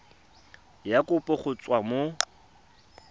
ya kopo go tswa mo